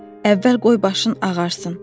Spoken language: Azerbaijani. Əvvəl qoy başın ağarsın.